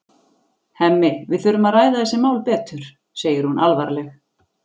Hemmi, við þurfum að ræða þessi mál betur, segir hún alvarleg.